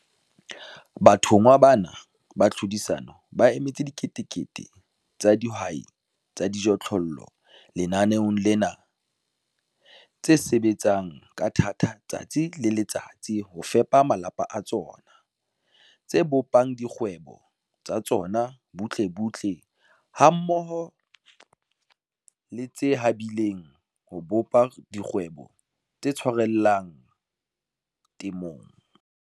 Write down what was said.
Bathonngwa bana ba tlhodisano ba emetse diketekete tsa dihwai tsa dijothollo lenaneong lena, tse sebetsang ka thata letsatsi le letsatsi ho fepa malapa a tsona, tse bopang dikgwebo tsa tsona butlebutle hammoho le tse habileng ho bopa dikgwebo tse tshwarellang temong.